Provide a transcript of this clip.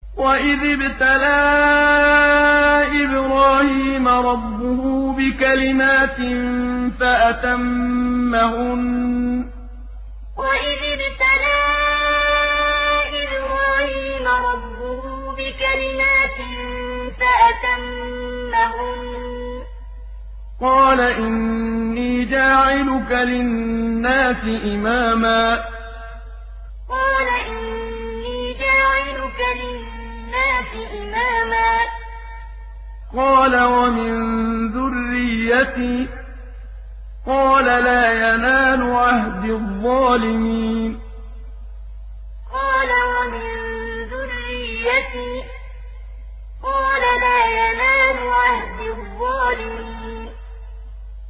۞ وَإِذِ ابْتَلَىٰ إِبْرَاهِيمَ رَبُّهُ بِكَلِمَاتٍ فَأَتَمَّهُنَّ ۖ قَالَ إِنِّي جَاعِلُكَ لِلنَّاسِ إِمَامًا ۖ قَالَ وَمِن ذُرِّيَّتِي ۖ قَالَ لَا يَنَالُ عَهْدِي الظَّالِمِينَ ۞ وَإِذِ ابْتَلَىٰ إِبْرَاهِيمَ رَبُّهُ بِكَلِمَاتٍ فَأَتَمَّهُنَّ ۖ قَالَ إِنِّي جَاعِلُكَ لِلنَّاسِ إِمَامًا ۖ قَالَ وَمِن ذُرِّيَّتِي ۖ قَالَ لَا يَنَالُ عَهْدِي الظَّالِمِينَ